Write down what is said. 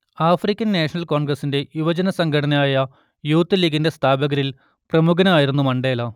African National കോൺഗ്രസ്സിന്റെ യുവജനസംഘടനയായ youth ലീഗിന്റെ സ്ഥാപകരിൽ പ്രമുഖനായിരുന്നു മണ്ടേല